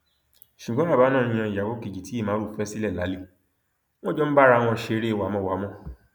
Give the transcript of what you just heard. ṣùgbọn bàbá náà ń yan ìyàwó kejì tí ìmárù fẹ sílẹ lálẹ wọn jọ ń bá ara wọn ṣeré wámọwàmọ